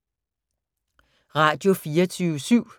Radio24syv